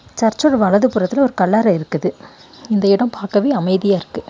சர்ச்சோட வலது புறத்துல ஒரு கல்லற இருக்குது இந்த இடம் பாக்கவே அமைதியா இருக்கு.